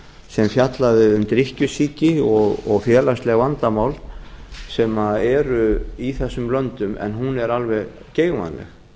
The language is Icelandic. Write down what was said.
sem fjallaði um drykkjusýki og félagsleg vandamál sem eru í þessum löndum en þau eru alveg geigvænleg